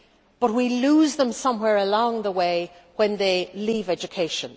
But we lose them somewhere along the way when they leave education.